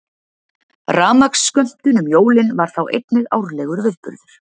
Rafmagnsskömmtun um jólin var þá einnig árlegur viðburður.